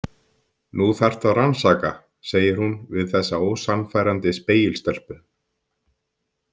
Nú þarftu að rannsaka, segir hún við þessa ósannfærandi spegilstelpu.